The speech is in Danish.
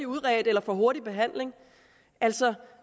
udredt eller får en hurtig behandling altså